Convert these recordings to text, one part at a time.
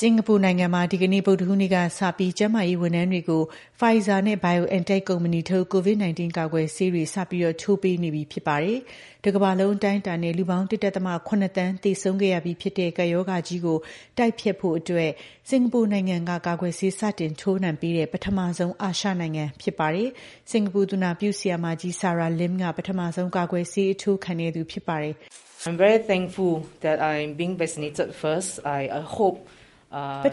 စင်္ကာပူနိုင်ငံမှာ ဒီကနေ့ ဗုဒ္ဓဟူးနေ့ကစပြီး ကျန်းမာရေးဝန်ထမ်းတွေကို Pfizer နဲ့ BioNTec ကုမ္ပဏီထုတ် COVID 19 ကာကွယ်ဆေးတွေ စတင် ထိုးပေးနေပြီ ဖြစ်ပါတယ်။ တကမ္ဘာလုံးအတိုင်းအတာနဲ့ လူပေါင်း ၁.၇ သန်း သေဆုံးခဲ့ရပြီဖြစ်တဲ့ ကပ်ရောဂါကြီးကို တိုက်ဖျက်ဖို့ စင်္ကာပူနိုင်ငံကကာကွယ် ဆေးစတင် ထိုးနှံပေးတဲ့ ပထမဆုံး အာရှနိုင်ငံ ဖြစ်လာပါတယ်။ စင်္ကာပူ သူနာပြုဆရာမကြီး Sarah Lim က ပထမဆုံး ကာကွယ်ဆေး ထိုးခံသူ ဖြစ်ပါတယ်။ "ပ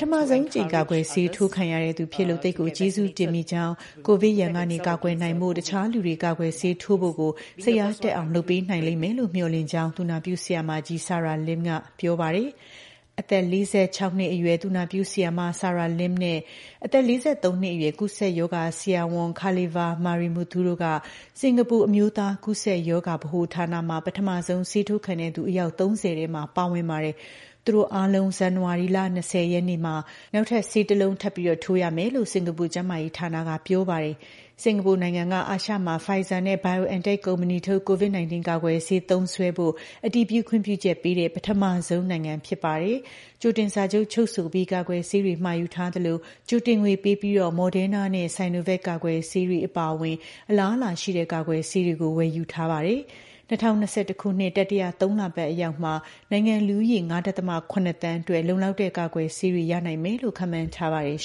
ထမဆုံးအကြိမ် ကာကွယ်ဆေးထိုးရသူ ဖြစ်ရလို့ သိပ်ကို ကျေးဇူးတင်မိကြောင်း၊ ကိုဗစ်ရန်ကနေ ကာကွယ်နိုင်ဖို့ တခြားလူတွေ ကာကွယ် ဆေးထိုးဖို့ကို စိတ်အားတက်အောင် လုပ်ပေးနိုင်လိမ့်မယ်လို့လည်း မျှော်လင့်ပါတယ်။" လို့ သူနာပြု ဆရာမကြီး Sarah Lim ကပြောပါတယ်။ အသက် ၄၆ နှစ်အရွယ် သူနာပြုဆရာမ Sarah Lim နဲ့ အသက် ၄၃ နှစ်အရွယ် ကူးစက်ရောဂါဆရာဝန် Kalisvar Marimuthu တို့က စင်္ကာပူ အမျိုးသား ကူးစက်ရောဂါဗဟိုဌာနမှာ ပထမဆုံးဆေးထိုးခံသူ အယောက် ၃၀ ထဲ ပါဝင်ပါတယ်။ သူတို့တတွေအားလုံး ဇန်နဝါရီလ ၂၀ ရက်နေ့မှာ နောက်ထပ် ဆေးတစ်လုံးထပ်ထိုးကြရမယ်လို့ စင်္ကာပူ ကျန်းမာရေးဌာနက ပြောပါတယ်။ စင်္ကာပူနိုင်ငံက အာရှမှာ Pfizer နဲ့ BioNTec ကုမ္ပဏီထုတ် COVID 19 ကာကွယ်ဆေး သုံးစွဲဖို့ အတည်ပြု ခွင့်ပြုချက်ပေးတဲ့ ပထမဆုံး နိုင်ငံ ဖြစ်ပါတယ်။ ကြိုတင်စာချုပ်ချုပ်ဆိုပြီး ကာကွယ်ဆေးတွေမှာယူထားသလို ကြိုတင်ငွေပေးပြီး Moderna နဲ့ Sonovac ကာကွယ်ဆေးတွေ အပါအဝင် အလားအလာ ရှိတဲ့ ကာကွယ်ဆေးတွေကို ဝယ်ယူထားပါတယ်။ ၂၀၂၁ ခုနှစ်တတိယသုံးလပတ်အရောက်မှာ နိုင်ငံ့လူဦးရေ ၅.၇ သန်းအတွက် လုံလောက်တဲ့ ကာကွယ်ဆေးတွေ ရနိုင်မယ်လို့ ခန့်မှန်းထားပါတယ်